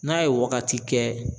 N'a ye wagati kɛ